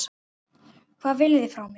Hvað viljið þið frá mér?